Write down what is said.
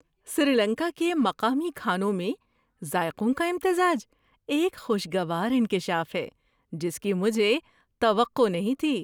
سری لنکا کے مقامی کھانوں میں ذائقوں کا امتزاج ایک خوشگوار انکشاف ہے جس کی مجھے توقع نہیں تھی۔